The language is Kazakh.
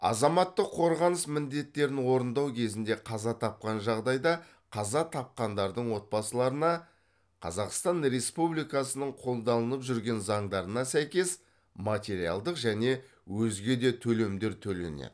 азаматтық қорғаныс міндеттерін орындау кезінде қаза тапқан жағдайда қаза тапқандардың отбасыларына қазақстан республикасының қолданылып жүрген заңдарына сәйкес материалдық және өзге де төлемдер төленеді